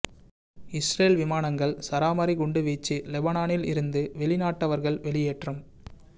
Israel விமானங்கள் சரமாரி குண்டு வீச்சு லெபனானில் இருந்து வெளிநாட்டவர்கள் வெளியேற்றம்